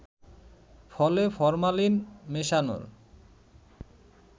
ফলে ফরমালিন মেশানোর